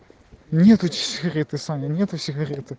нет у тебя